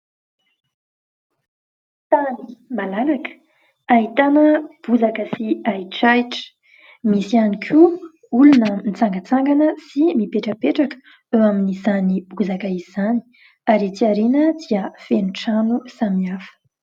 Tany malalaka ahitana bozaka sy ahitrahitra. Misy ihany koa olona mitsangatsangana sy mipetrapetraka eo amin'izany bozaka izany ary ety aoriana dia feno trano samihafa.